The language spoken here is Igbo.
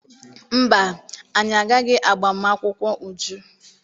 Mba, anyị agaghị agba m akwụkwọ Uju.